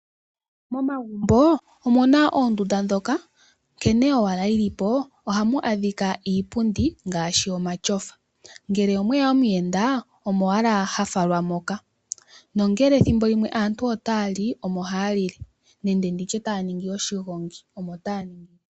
Momagumbo omuna oondunda ndhoka nkene owala dhili po ohamu adhika iipundi ngaashi omatyofa, nongele omweya omuyenda omo owala ha falwa moka nongele thimbo limwe aantu otaya li, omo haya li le nenge nditye taya ningi oshigongi, omo taya ningi le.